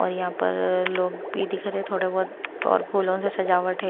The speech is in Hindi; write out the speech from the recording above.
और यहाँ पर लोग भी दिख रहे हैं थोड़े बहुत और फूलों से सजावट है।